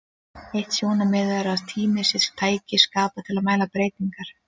Eitt sjónarmiðið er að tími sé tæki skapað til að mæla breytingar.